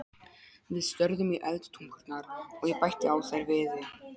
Við störðum í eldtungurnar, og ég bætti á þær viði.